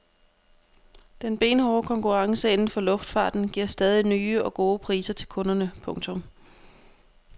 Den benhårde konkurrence inden for luftfarten giver stadig nye og gode priser til kunderne. punktum